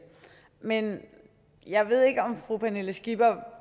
men jeg ved ikke om fru pernille skipper